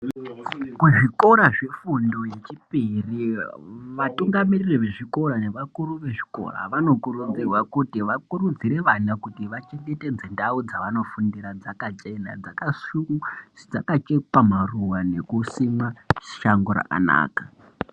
Kuzvikora zvefundo yechipiri vatungamiriri vezveikora nevakuru vechikora vanokurudzirwa kuti vakurudzire vana kuti vachengetedze ndau dzavanofundira dzakachena, dzakachekwa maruva nekusimwa shango rakanaka.